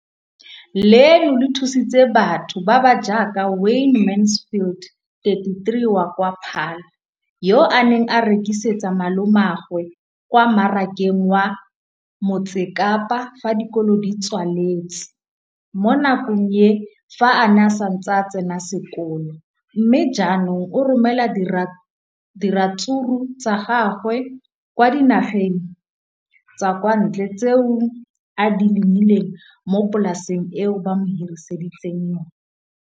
leno le thusitse batho ba ba jaaka Wayne Mansfield, 33, wa kwa Paarl, yo a neng a rekisetsa malomagwe kwa Marakeng wa Motsekapa fa dikolo di tswaletse, mo nakong ya fa a ne a santse a tsena sekolo, mme ga jaanong o romela diratsuru tsa gagwe kwa dinageng tsa kwa ntle tseo a di lemileng mo polaseng eo ba mo hiriseditseng yona.